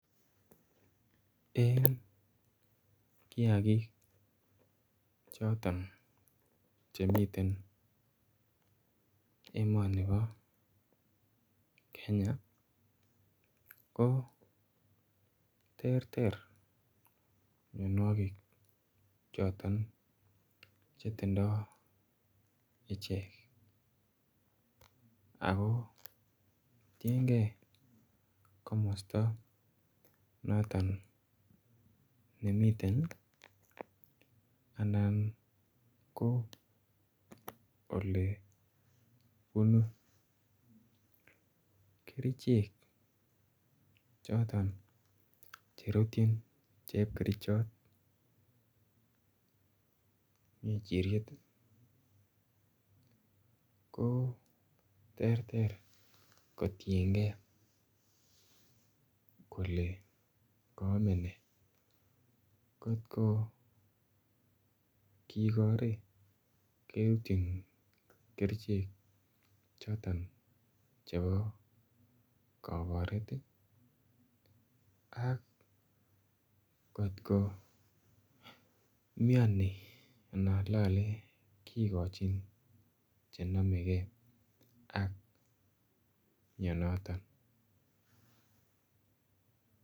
Eng kiagik chotoon chemiten emani nibo Kenya ko terter mianwagik che tindoi icheek ako tienkei komostaa notoon nemiten ii anan ko ole bunu kercheek chotoon cherutyin chepkerchaat ngerchiriet ko terter kotienkei kot ko kigore keipchiin Kercheek chotoon chebo kakaret ak ngoot ko miani kogochin che namekei ak mianantoon.